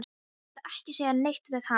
Þú mátt ekki segja neitt við hana.